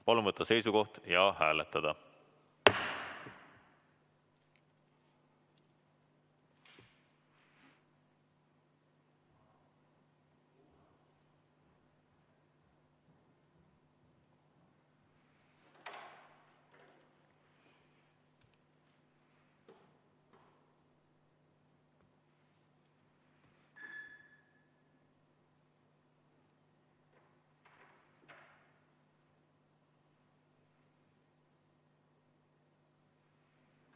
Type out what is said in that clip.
Palun võtta seisukoht ja hääletada!